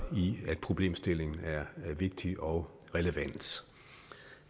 i at problemstillingen er vigtig og relevant